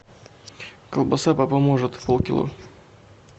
колбаса папа может полкило